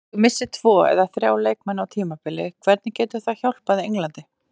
Ef þú missir tvo eða þrjá leikmenn á tímabili hvernig getur það hjálpað Englandi?